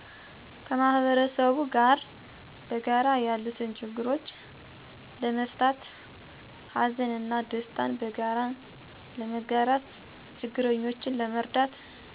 ከ ማህበረሰቡ ጋር በጋራ ያሉትን ችግሮች ለመፍታትት ሀዘን እና ደስታን በጋራ ለመጋራት ችግረኞችን ለመርዳት